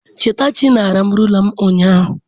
Chetachi naara m rula m ụnyaahụ.